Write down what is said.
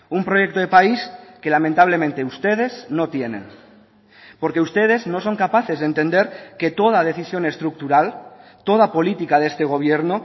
un proyecto de país que lamentablemente ustedes no tienen porque ustedes no son capaces de entender que toda decisión estructural toda política de este gobierno